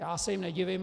Já se jim nedivím.